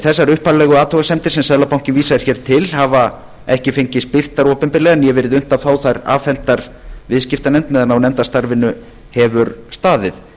þessar upphaflegu athugasemdir sem seðlabankinn síst hér til hafa ekki fengist birtar opinberlega né verið unnt að fá þær afhentar viðskiptanefnd meðan á nefndarstarfinu hefur staðið